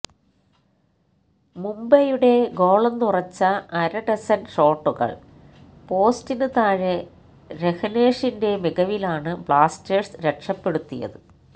മുംബൈയുടെ ഗോളെന്നുറച്ച അരഡസന് ഷോട്ടുകള് പോസ്റ്റിന് താഴെ രഹ്നേഷിന്റെ മികവിലാണ് ബ്ലാസ്റ്റേഴ്സ് രക്ഷപ്പെടുത്തിയത്